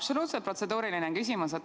Absoluutselt protseduuriline küsimus.